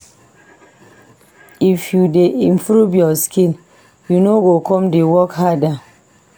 If you dey improve your skill, you no go come dey work harder.